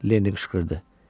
Lenni qışqırdı.